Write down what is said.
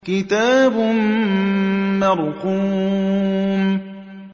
كِتَابٌ مَّرْقُومٌ